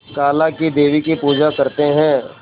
काला क़ी देवी की पूजा करते है